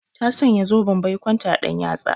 Ta sanya zoben baikonta a ɗan yatsa.